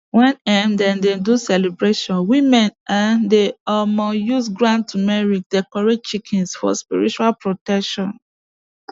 when um dem dey do celebration women um dey um use ground turmeric decorate chickens for spiritual protection